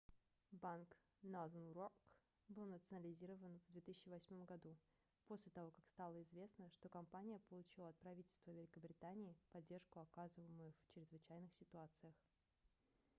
банк northern rock был национализирован в 2008 году после того как стало известно что компания получила от правительства великобритании поддержку оказываемую в чрезвычайных ситуациях